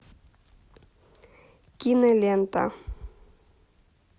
кинолента